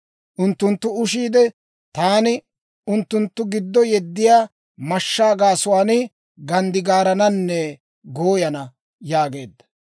Unttunttu ushiide, taani unttunttu giddo yeddiyaa mashshaa gaasuwaan ganddigaarananne gooyana» yaageedda.